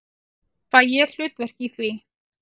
Fæ ég hlutverk í því?